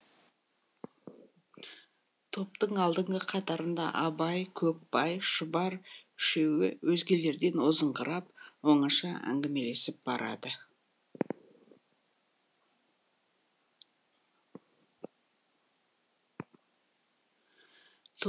топтың алдыңғы қатарында абай көкбай шұбар үшеуі өзгелерден озыңқырап оңаша әңгімелесіп барады